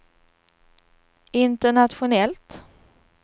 internationellt